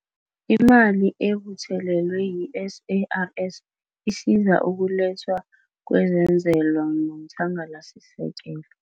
Imali ebuthelelwe yi-SARS isiza ukulethwa kwezenzelwa nomthangalasisekelo.